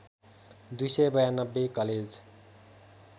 २९२ college